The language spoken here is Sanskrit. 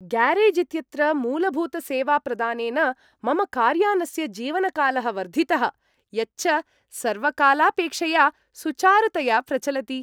ग्यारेज् इत्यत्र मूलभूतसेवाप्रदानेन मम कार्यानस्य जीवनकालः वर्धितः, यच्च सर्वकालापेक्षया सुचारुतया प्रचलति!